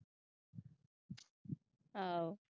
ਆਹੋ।